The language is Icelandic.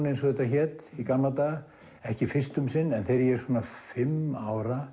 eins og þetta hét í gamla daga ekki fyrst um sinn en þegar ég er svona fimm ára